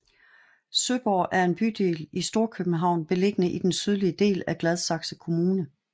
Søborg er en bydel i Storkøbenhavn beliggende i den sydlige del af Gladsaxe kommune